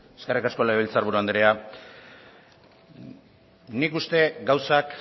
eskerrik asko legebiltzar buru andrea nik uste gauzak